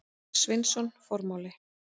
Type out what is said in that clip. Sveinsson: Formáli.